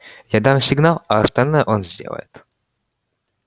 я дам сигнал а остальное он сделает